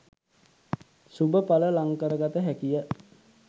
ශුභ ඵල ලං කරගත හැකිය